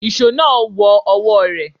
Ìṣó náà wọ ọwọ́ rẹ̀.